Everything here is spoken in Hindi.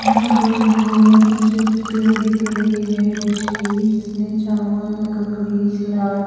यहा पर हमे कुछ क्ले दिख रही है डिश की जिसमे चावल ककड़ी सलाद--